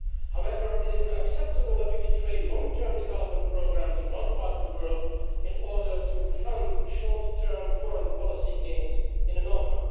However, it is unacceptable that we betray long term development programmes in one part of the world in order to fund short term foreign policy gains in another.